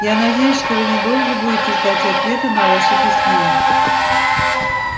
я надеюсь что вы недолго будете ждать ответа на ваше письмо